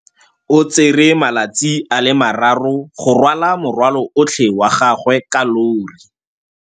O tsere malatsi a le marraro go rwala morwalo otlhe wa gagwe ka llori.